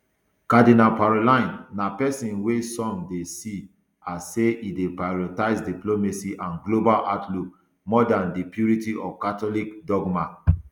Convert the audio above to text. cardinal parolin na pesin wey some dey see as say e dey prioritise diplomacy and a global outlook more dan di purity of catholic dogma